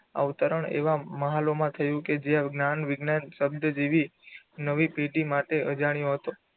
અવતરણ એવા માલમાં થયું કે જે જ્ઞાન વિજ્ઞાન શબ્દ જેવી નવી પેઢી માટે અજાણ્યો હતો.